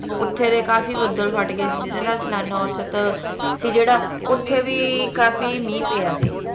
ਓਥੇ ਦੇ ਕਾਫੀ ਬੱਦਲ ਫਟ ਗਏ ਸੀ ਜਿਹਦੇ ਨਾਲ ਸਾਲਾਨਾ ਔਸਤ ਸੀ ਜਿਹੜਾ ਓਥੇ ਵੀ ਕਾਫੀ ਮੀਂਹ ਪਿਆ ਸੀ